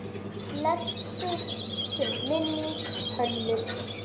Blessuð sé minning Hönnu.